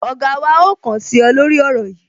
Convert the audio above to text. Ọ̀gá wa ó kàn sí ọ, lórí ọ̀rọ̀ yìí